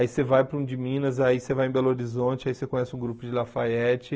Aí você vai para um de Minas, aí você vai em Belo Horizonte, aí você conhece um grupo de Lafayette.